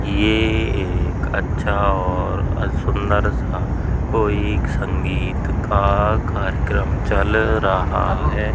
ये एक अच्छा और सुन्दर सा कोई संगीत का कार्यक्रम चल रहा है।